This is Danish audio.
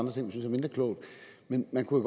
vi synes er mindre kloge men man kunne